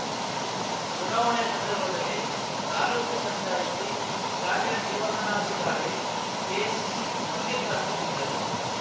ಚುನಾವಣೆ ಸಂದರ್ಭದಲ್ಲಿ ತಾಲೂಕು ಪಂಚಾಯಿತಿ ಕಾರ್ಯನಿರ್ವಹಣಾಧಿಕಾರಿ ಕೆಸಿ ಮಲ್ಲಿಕಾರ್ಜುನ್‌ ಇದ್ದರು